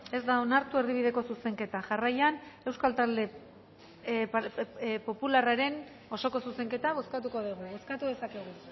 ez da onartu erdibideko zuzenketa jarraian euskal talde popularraren osoko zuzenketa bozkatuko dugu bozkatu dezakegu